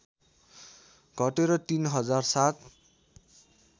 घटेर ३ हजार ७